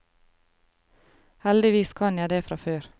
Heldigvis kan jeg det fra før.